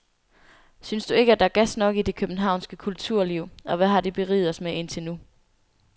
Synes du ikke, at der er gas nok i det københavnske kulturliv og hvad har det beriget os med indtil nu?